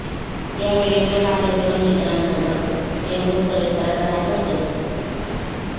त्यावेळे मी माझ्या दोन मित्रांसोबत चेंबूर परिसरात राहत होतो